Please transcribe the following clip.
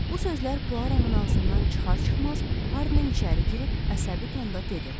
Bu sözlər Puaronun ağzından çıxar-çıxmaz Hardman içəri girib əsəbi tonda dedi.